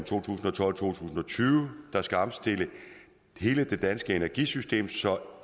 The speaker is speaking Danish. to tusind og tyve der skal omstille hele det danske energisystem så